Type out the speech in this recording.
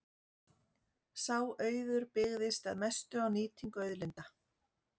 Sá auður byggðist að mestu á nýtingu auðlinda.